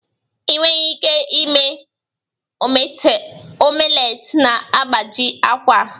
Ị nweghị ike ime omelet na-agbaji akwa